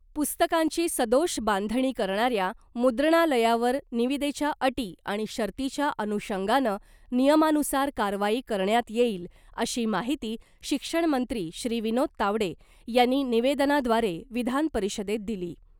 पुस्तकांची सदोष बांधणी करणाऱ्या मुद्रणालयावर निविदेच्या अटी आणि शर्तीच्या अनुषंगानं नियमानुसार कारवाई करण्यात येईल , अशी माहिती शिक्षण मंत्री श्री विनोद तावडे यांनी निवेदनाद्वारे विधानपरिषदेत दिली .